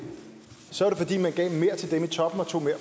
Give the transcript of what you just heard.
til dem i toppen og tog mere